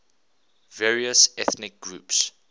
various ethnic groups